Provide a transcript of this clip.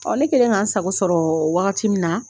ne kɛlen ka n sago sɔrɔ wagati min na.